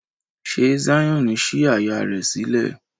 Ṣe Zion sí àyá rẹ sílẹ̀?